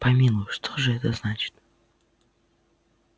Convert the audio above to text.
помилуй что ж это значит